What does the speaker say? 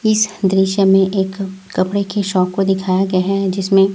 इस दृश्य में एक कपड़े की शॉप को दिखाया गया है जिसमें--